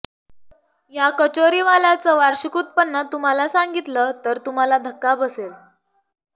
या कचोरीवाल्याचं वार्षिक उत्पन्न तुम्हाला सांगितलं तर तुम्हाला धक्का बसेल